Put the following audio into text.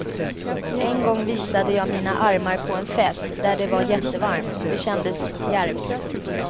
En gång visade jag mina armar på en fest där det var jättevarmt, det kändes djärvt.